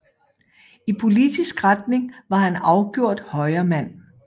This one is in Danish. I politisk retning var han afgjort Højremand